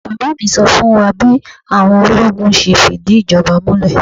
Bàbá mi sọ fún wa bí àwọn ológun ṣe fìdí ìjọba múlẹ̀.